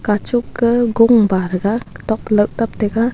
kachuk kah gung wataga kotok to lauh taptaga.